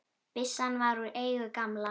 Byssan var úr eigu gamla